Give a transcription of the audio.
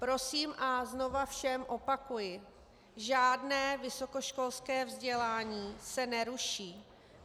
Prosím a znovu všem opakuji, žádné vysokoškolské vzdělání se neruší.